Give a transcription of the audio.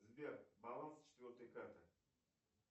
сбер баланс четвертой карты